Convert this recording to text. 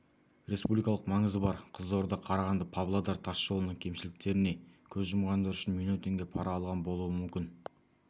республикалық маңызы бар қызылорда қарағанды павлодар тас жолының кемшіліктеріне көз жұмғандары үшін миллион теңге пара алған болуы мүмкін